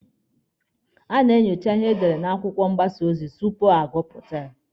A na-enyocha ihe edere n'akwụkwọ mgbasa ozi tupu agụpụta.